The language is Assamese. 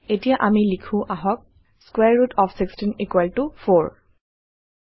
এতিয়া আমি লিখো আহক স্কোৱাৰে ৰুট অফ 16 4